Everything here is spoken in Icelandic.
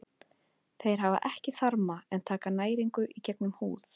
Þeir hafa ekki þarma en taka næringu í gegnum húð.